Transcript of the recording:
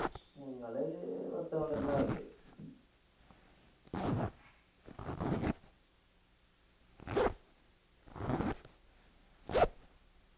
ഞങ്ങളേൽ പത്ത്പന്ത്രണ്ട് ആളിണ്ട്